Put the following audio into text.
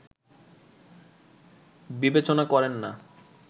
বিবেচনা করেন না